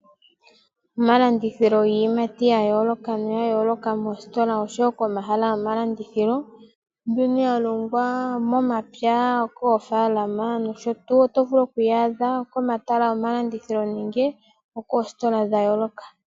Omalandithilo giiyimati ya yooloka oshowo komahala gomalandithilo mbyoka ya longwa momapya kofaalama nosho tuu ,oyo vulu okuyi adha nande okomahala gomalandithilo nenge komahala ga yooloka.